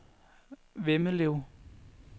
Vemmelev